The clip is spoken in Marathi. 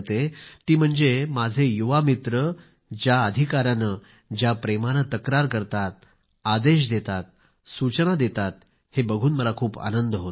ती म्हणजे माझे युवा मित्र ज्या अधिकाराने ज्या प्रेमाने तक्रार करतातआदेश देतात सूचना देतात हे बघून मला खूप आनंद होतो